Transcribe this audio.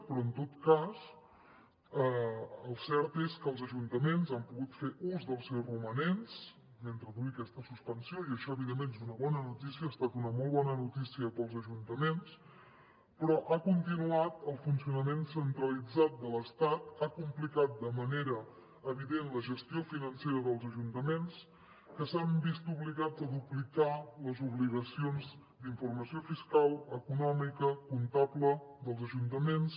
però en tot cas el cert és que els ajuntaments han pogut fer ús dels seus romanents mentre duri aquesta suspensió i això evidentment és una bona notícia ha estat una molt bona notícia per als ajuntaments però ha continuat el funcionament centralitzat de l’estat ha complicat de manera evident la gestió financera dels ajuntaments que s’han vist obligats a duplicar les obligacions d’informació fiscal econòmica comptable dels ajuntaments